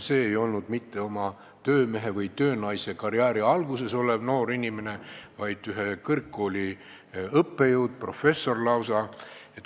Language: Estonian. Tema ei olnud mitte oma töömehe- või töönaisekarjääri alguses olev noor inimene, vaid ühe kõrgkooli õppejõud, professor lausa.